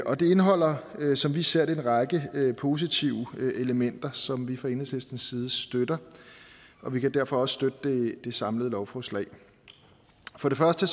og det indeholder som vi ser det en række positive elementer som vi fra enhedslistens side støtter og vi kan derfor også støtte det samlede lovforslag for det første